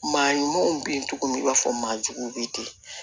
Maa ɲumanw bin cogo min i b'a fɔ maa juguw be ten